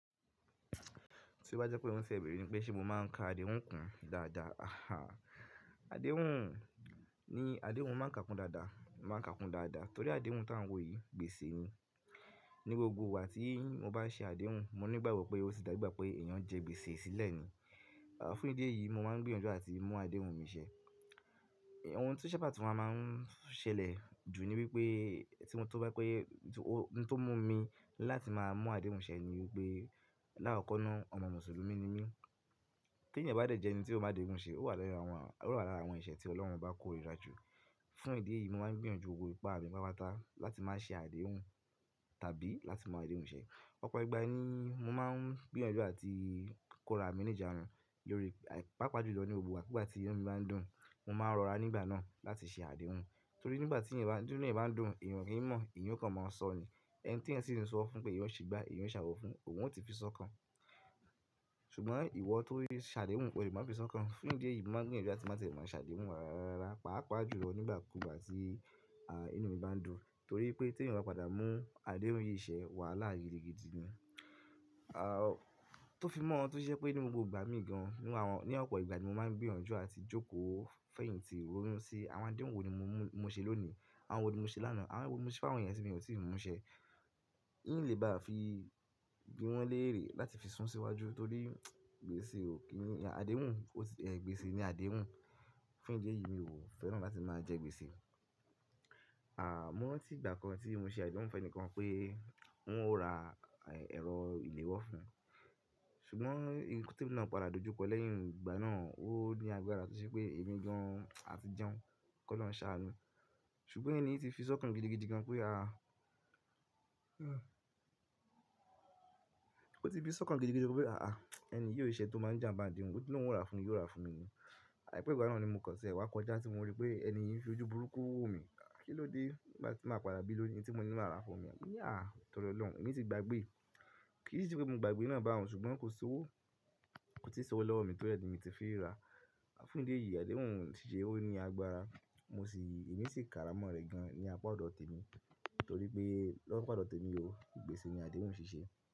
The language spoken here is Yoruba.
Tí ó bá jẹ́ pé ìwọ ń fẹ́ bẹ̀rẹ̀ ni pé ṣe mo máa ń ka àdéhùn kùn dáadáa. Àdéhùn ni àdéhùn máa ń ka kún dáadáa, máa ń ka kún dáadáa torí àdéhùn tá ń wo yìí gbèsè ni. Ni gbogbo ìgbà tí mo bá ṣe àdéhùn mo ní ìgbàgbọ́ pé ó ti dàgbàgbọ́ pé èèyàn jẹ gbèsè sílẹ̀ ni. Fún ìdí èyí mo máa ń gbìyànjú àti mú àdéhùn mi ṣẹ. Ohun tí ó ṣe pàtó máa ń ṣẹlẹ̀ jù ni wípé tí mo bá pé ó yẹ, tó mú mi láti máa mú àdéhùn ṣẹ ni wípé láàkọ́kọ́na ọmọ Mùsùlùmí ni mí. Kí èèyàn bá jẹ́ jẹ́ ẹni tí ó máa àdéhùn ṣe, ó wà lára àwọn eṣẹ́ tí Ọlọ́run bá kó ìrájò. Fún ìdí èyí mo máa ń gbìyànjú gbogbo ipá mi, ipá pàtà láti máa ṣe àdéhùn tàbí láti máa àdéhùn ṣẹ. Ọ̀pọ̀ ìgbà ni mo máa ń gbìyànjú àti kó ra míníjànu lórí pàápàá jùlọ ní gbogbo ìgbà kígbà tí inú mi bá ń dùn mo máa ń rọra nígbà náà láti ṣe àdéhùn. Torí nígbà tí èèyàn bá ń dùn, èèyàn kì í mọ̀, èèyàn kò mọ sọ ni. Ẹni tí ẹni sì ń sọ fún pé èèyàn ṣì gba, èèyàn ṣàwọ fún òun, òun ò ti fi sọ́kàn. Ṣùgbọ́n ìwọ tó ṣe àdéhùn kò le má fi sọ́kàn. Fún ìdí èyí mo máa ń gbìyànjú àti máa tẹ̀lé wọn ṣàdéhùn wà ra pàápàá jùlọ nígbà kúgbà tí à inú mi bá ń dùn. Torí pé tí èèyàn bá padà mú àdéhùn yìí ṣẹ wàhálà ayé gidigidi ni. À tó fi mọ́, tó ṣe pé ní gbogbo ìgbà mi gan ní Ọ̀pọ̀ ìgbà ni mo máa ń gbìyànjú àti jókòó fẹ́yìntì owó mú sí. Àwọn àdéhùn wo ni mo ṣe lónìí, àwọn wo ni mo ṣe lánàá, àwọn wo ni mo ṣe fáwọn eyan ti mo sì mú ṣẹ. N ì le bá à fi gbí wọn léèrè láti fi sún síwájú torí gbèsè ò kí ni àdéhùn, ó ti gbèsè ni àdéhùn. Fún ìdí èyí mi ò fẹ́ràn láti máa jẹ gbèsè. À mo rantí ìgbà kan tí mo ṣe àdéhùn fún ẹni kan pé òun ó ra ẹ̀rọ ìlewọ́ fún un. Ṣùgbọ́n tí ì náà padà dojúkọ lẹ́yìn ìgbà náà, ó ní agbára tún ṣe pé èmi gan à ti jẹun kó lọ ṣanú. Ṣùgbọ́n èèyàn yìí ti fi sọ́kàn gidigidi gan pé à ó ti fi sọ́kàn gidigidi gan pé àá ẹni yí ò ṣe tó máa ń jẹ́ àtí àdéhùn, ó ti náwó ra fún un yóò ra fún mi ni. Àìpẹ́ ìgbà náà ni mo kọ̀sẹ̀ wá kọjá tí mo rí pé ẹni yìí fi ojú burúkú wò mi. Kí ló dé bá ti máa padà bí lónìí tí mo ní màá ra fún mi? Mo wí à tọrọ lọ̀run, èmi ti gbàgbé. Kì í ṣe pé mo gbàgbé náà bá òun ṣùgbọ́n kò sí owó, kò sì ṣọwọ́ lọ́wọ́ mi torí ẹni tí mo ti fi ra. Fún ìdí èyí àdéhùn ò sì ṣe, ó ní agbára. Mo sì, èmi sì kára mọ́ rẹ̀ gan ní apá ọ̀dọ̀ tèmi torí pé lọ́wọ́ apá ọ̀dọ̀ tèmi ò gbèsè ni àdéhùn ò ṣe ṣe.